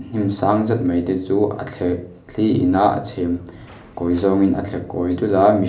hnim sang zet mai te chuh a thleh thli ina a chhem kawi zawngin a thle kawi dul a mihr--